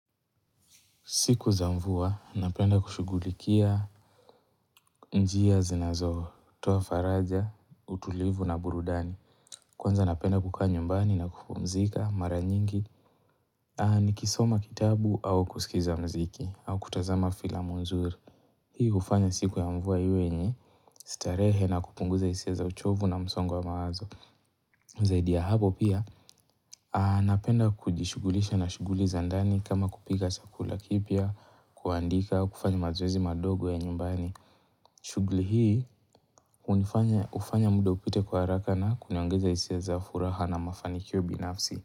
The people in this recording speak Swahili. Siku za mvua, napenda kushugulikia njia zinazo, toa faraja, utulivu na burudani. Kwanza napenda kukaa nyumbani na kupumzika, mara nyingi, ni kisoma kitabu au kusikiza mziki, au kutazama filamu nzuri. Hii ufanya siku ya mvua iwe yenye, starehe na kupunguza isia za uchovu na msongo wa mawazo. Zaidi ya hapo pia, anapenda kujishugulisha na shuguli za ndani kama kupika chakula kipya, kuandika, kufanya mazoezi madogo ya nyumbani. Shuguli hii, ufanya muda upite kwa haraka na kuniongeza isia za furaha na mafanikio binafsi.